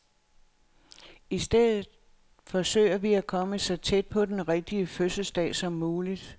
I stedet forsøger vi at komme så tæt på den rigtige fødselsdag som muligt.